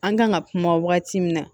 An kan ka kuma wagati min na